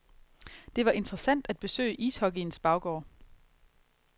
Det var interessant at besøge ishockeyens baggård.